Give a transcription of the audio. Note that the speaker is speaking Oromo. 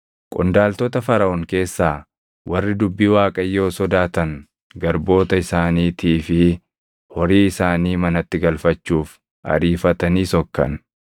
Qondaaltota Faraʼoon keessaa warri dubbii Waaqayyoo sodaatan garboota isaaniitii fi horii isaanii manatti galfachuuf ariifatanii sokkan.